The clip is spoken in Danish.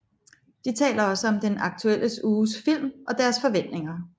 De taler også om den aktuelle uges film og deres forventninger